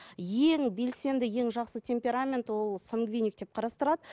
ең белсенді ең жақсы темперамент ол сангвиник деп қарастырылады